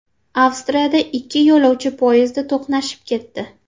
Avstriyada ikkita yo‘lovchi poyezdi to‘qnashib ketdi.